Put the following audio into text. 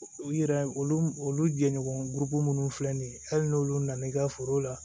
U yɛrɛ olu olu jɛɲɔgɔn burubu minnu filɛ nin ye hali n'olu nana i ka foro la